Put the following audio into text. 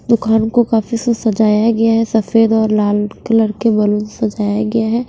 दुकान को काफी सु सजाया गया है सफेद और लाल कलर के बलून सजाया गया है।